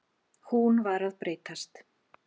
Hún var að breytast.